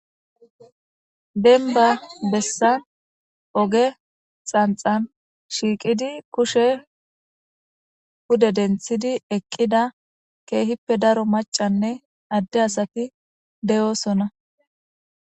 denba bessan oge xanxan shiiqidi kushe pude denthidi eqqida keehippe daro macanne adde asati de'oosona